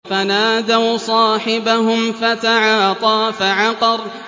فَنَادَوْا صَاحِبَهُمْ فَتَعَاطَىٰ فَعَقَرَ